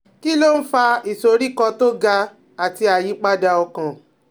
Kí ló ń fa ìsoríkọ́ tó ga àti ìyípadà ọkàn?